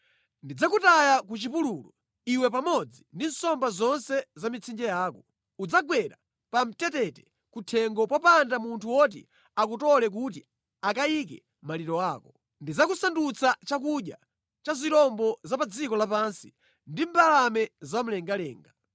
Ndidzakutaya ku chipululu, iwe pamodzi ndi nsomba zonse za mʼmitsinje yako. Udzagwera pamtetete kuthengo popanda munthu woti akutole kuti akayike maliro ako. Ndidzakusandutsa chakudya cha zirombo za pa dziko lapansi ndi mbalame za mlengalenga.